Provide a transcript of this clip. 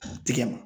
Tigɛ ma